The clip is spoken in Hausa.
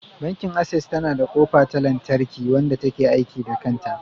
Bankin Access yana da kofa ta lantarki, wanda ta ke aiki da kanta.